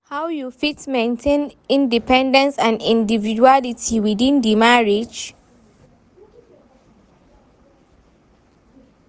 How you fit maintain independence and individuality within di marriage?